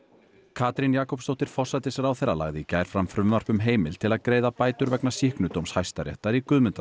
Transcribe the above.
Katrín Jakobsdóttir forsætisráðherra lagði í gær fram frumvarp um heimild til að greiða bætur vegna Hæstaréttar í Guðmundar